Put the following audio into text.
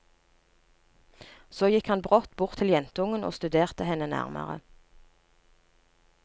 Så gikk han brått bort til jentungen og studerte henne nærmere.